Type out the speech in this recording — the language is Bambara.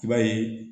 I b'a ye